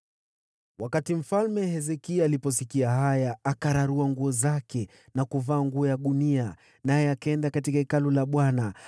Mfalme Hezekia aliposikia haya, akararua nguo zake na kuvaa nguo ya gunia, naye akaenda katika Hekalu la Bwana .